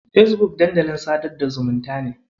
Fesbuk dandalin sadar da zumunta ne.